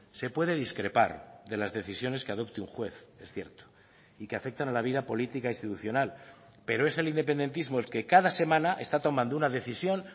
se puede discrepar de las decisiones que adopte un juez es cierto y que afectan a la vida política institucional pero es el independentismo el que cada semana está tomando una decisión